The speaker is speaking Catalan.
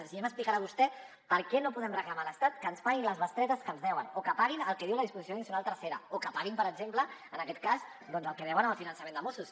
així ja m’explicarà vostè per què no podem reclamar a l’estat que ens paguin les bestretes que ens deuen o que paguin el que diu la disposició addicional tercera o que paguin per exemple en aquest cas doncs el que deuen en el finançament de mossos